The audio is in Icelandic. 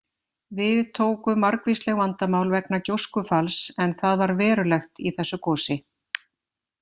Við tóku margvísleg vandamál vegna gjóskufalls en það var verulegt í þessu gosi.